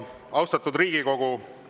Austatud Riigikogu!